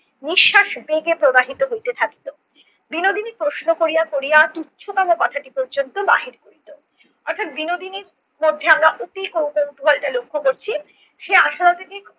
নিঃশ্বাস বেগে প্রবাহিত হইতে থাকিত। বিনোদিনী প্রশ্ন করিয়া করিয়া তুচ্ছতম কথাটি পর্যন্ত বাহির করিত। অর্থাৎ বিনোদিনীর মধ্যে আমরা অতি কৌত~ কৌতূহলটা লক্ষ্য করছি। সে আশার অতিথি